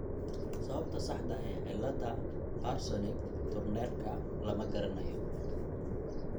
Sababta saxda ah ee cilada Parsonage Turnerka (PTS) lama garanayo.